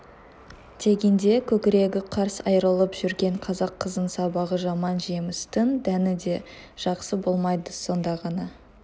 дегенде көкірегі қарс айрылып жүрген қазақ қызын сабағы жаман жемістің дәні де жақсы болмайды сонда ғана